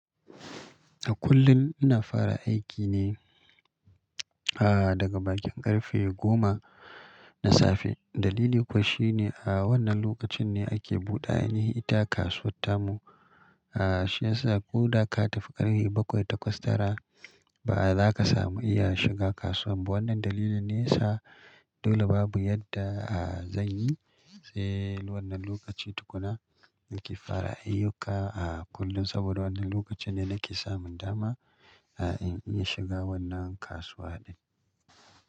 A kullum ina fara aiki ne, ah, daga bakin ƙarfe goma na safe. Dalili kuwa shi ne a wannan lokacin ne ake buɗe, anyi ita kasuwar tamu. Ah, shi ya sa ko da ka tafi ƙarfe bakwai takwas tara ba za ka samu iya shiga kasuwa ba. Wannan dalilin ne sa dole babu yadda, ah, zanyi sai wannan lokaci tukuna nake fara ayyuka a kullum saboda wannan lokacin ne nake samun dama, ah, in iya shiga wannan kasuwa din.